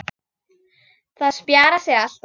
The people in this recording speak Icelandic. Það spjarar sig alltaf.